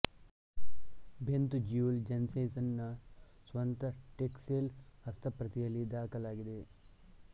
Bent Juel Jensen ನ ಸ್ವಂತ Tixall ಹಸ್ತಪ್ರತಿಯಲ್ಲಿ ದಾಖಲಾಗಿದೆ